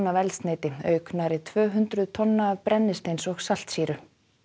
af eldsneyti auk nærri tvö hundruð tonna af brennisteins og saltsýru